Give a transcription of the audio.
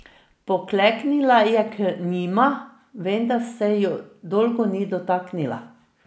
Pokleknila je k njima, vendar se ju dolgo ni dotaknila.